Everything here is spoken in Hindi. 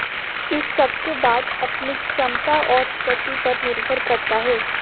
इस सब के बाद अपनी क्षमता और गति पर निर्भर करता है